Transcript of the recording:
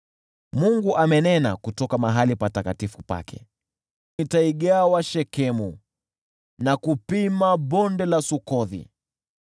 Mungu amenena kutoka patakatifu pake: “Nitaigawa Shekemu kwa ushindi na kulipima Bonde la Sukothi.